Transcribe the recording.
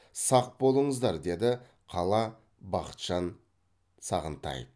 сақ болыңыздар деді қала бақытжан сағынтаев